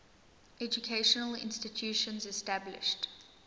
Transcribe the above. educational institutions established